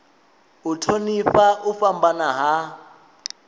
u thonifha u fhambana ha